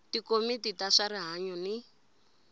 tikomiti ta swa rihanyu ni